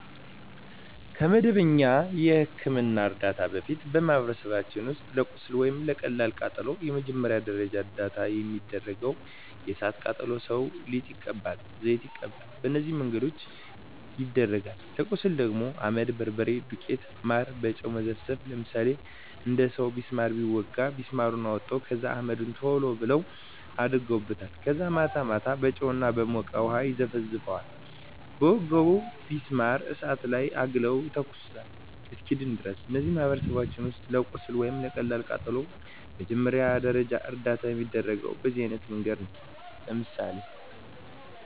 ከመደበኛ የሕክምና ዕርዳታ በፊት፣ በማኅበረሰባችን ውስጥ ለቁስል ወይም ለቀላል ቃጠሎ መጀመሪያ ደረጃ እርዳታ የሚደረገው እሣት የቃጠለው ሠው ሊጥ ይቀባል፤ ዘይት ይቀባል፤ በነዚህ መንገድ ይደረጋል። ለቁስል ደግሞ አመድ፤ በርበሬ፤ ቡና ዱቄት፤ ማር፤ በጨው መዘፍዘፍ፤ ለምሳሌ አንድ ሠው ቢስማር ቢወጋው ቢስማሩን አውጥተው ከዛ አመድ ቶሎ ብለው አደርጉበታል ከዛ ማታ ማታ በጨው እና በሞቀ ውሀ ይዘፈዝፈዋል በወጋው ቢስማር እሳት ላይ አግለው ይተኩሱታል እስኪድን ድረስ። እነዚህ በማኅበረሰባችን ውስጥ ለቁስል ወይም ለቀላል ቃጠሎ መጀመሪያ ደረጃ እርዳታ የሚደረገው በዚህ አይነት መንገድ ነው። ለምሳሌ